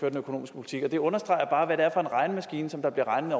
økonomiske politik på det understreger bare hvad det er for en regnemaskine som der bliver regnet